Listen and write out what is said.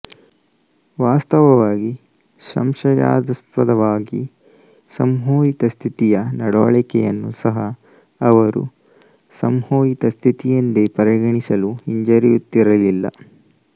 ವಾಸ್ತವವಾಗಿ ಸಂಶಯಾಸ್ಪದವಾಗಿ ಸಂಮೋಹಿತ ಸ್ಥಿತಿಯ ನಡವಳಿಕೆಯನ್ನು ಸಹ ಅವರು ಸಂಮೋಹಿತ ಸ್ಥಿತಿಯೆಂದೇ ಪರಿಗಣಿಸಲು ಹಿಂಜರಿಯುತ್ತಿರಲಿಲ್ಲ